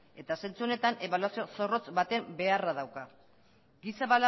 eta zentzu honetan ebaluazio zorrotz baten beharra dauka giza